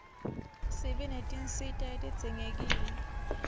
sibe netinsita letidzingekile